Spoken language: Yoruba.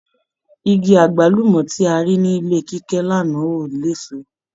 Igi agbalumọ ti a rí nílé Kíkẹ́ l'ana ò l'éso